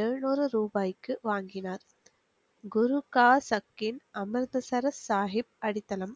எழுநூறு ரூபாய்க்கு வாங்கினார் குரு கா சக்கீன் அமுல் சரத் சாஹிப் அடித்தளம்